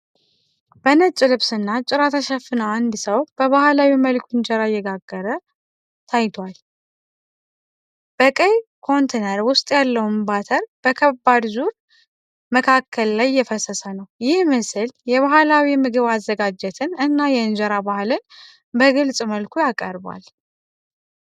በነጭ ልብስ እና ጭራ ተሸፍና አንድ ሰው በባህላዊ መልኩ እንጀራ እየቀቀለ ታይቷል። በቀይ ኮንተነር ውስጥ ያለውን ባተር በከባድ ዙር መቀቀል ላይ እየፈሰሰ ነው። ይህ ምስል የባህላዊ ምግብ አዘጋጅትን እና የእንጀራ ባህልን በግልጽ መልኩ ያቀርባል።